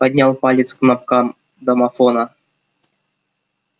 поднял палец к кнопкам домофона